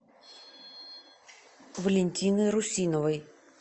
валентины русиновой